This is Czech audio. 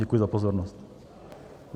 Děkuji za pozornost.